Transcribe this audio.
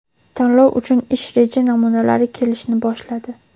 Tanlov uchun ish reja namunalari kelishni boshladi.